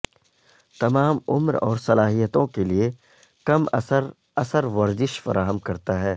تمام عمر اور صلاحیتوں کے لئے کم اثر اثر ورزش فراہم کرتا ہے